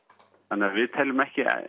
þannig að við teljum ekki